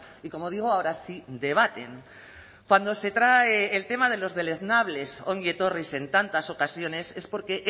y como digo ahora sí debaten cuando se trae el tema de los deleznables ongi etorris en tantas ocasiones es porque